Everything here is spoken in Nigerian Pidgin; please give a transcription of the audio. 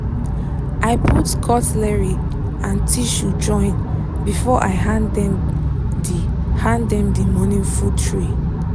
i put cutlery and tissue join before i hand them the hand them the morning food tray.